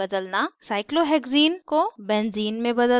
cyclohexene cyclohexene को benzene benzene में बदलना